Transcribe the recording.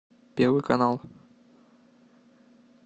первый канал